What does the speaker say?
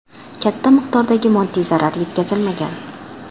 Katta miqdordagi moddiy zarar yetkazilmagan.